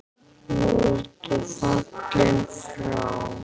Nú ertu fallinn frá.